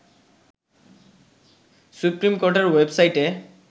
supreme কোর্টের ওয়েবসাইটে